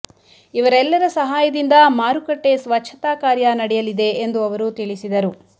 ಇವರೆಲ್ಲರ ಸಹಾಯದಿಂದ ಮಾರುಕಟ್ಟೆ ಸ್ವಚ್ಛತಾ ಕಾರ್ಯ ನಡೆಯಲಿದೆ ಎಂದು ಅವರು ತಿಳಿಸಿದರು